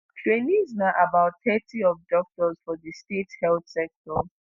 trainees na about thirty percent of doctors for di state health sector.